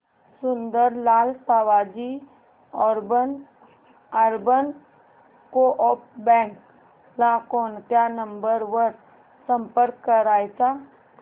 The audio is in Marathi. Sundarlal Savji urban coop bank ला कोणत्या नंबर वर संपर्क करायचा